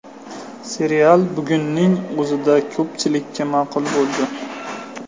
Serial bugunning o‘zida ko‘pchilikka ma’qul bo‘ldi.